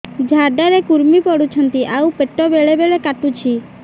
ଝାଡା ରେ କୁର୍ମି ପଡୁଛନ୍ତି ଆଉ ପେଟ ବେଳେ ବେଳେ କାଟୁଛି